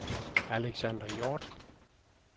Alexander Hjorth